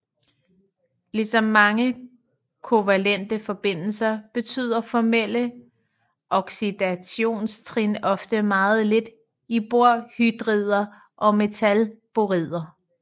Ligesom mange kovalente forbindelser betyder formelle oxidationstrin ofte meget lidt i borhydrider og metalborider